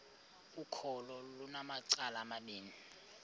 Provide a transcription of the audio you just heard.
ukholo lunamacala amabini